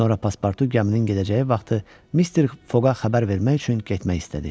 Sonra Passportu gəminin gedəcəyi vaxtı Mr. Foqa xəbər vermək üçün getmək istədi.